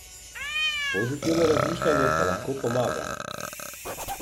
Pozitivno razmišljanje pa lahko pomaga.